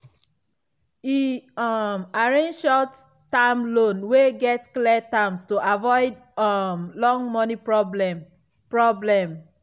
e um arrange short-term loan wey get clear terms to avoid um long money problem. problem.